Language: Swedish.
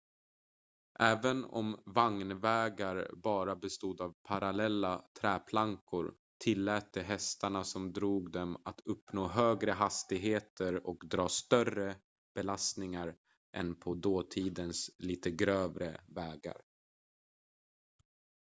även om vagnvägar bara bestod av parallella träplankor tillät de hästarna som drog dem att uppnå högre hastigheter och dra större belastningar än på dåtidens lite grövre vägar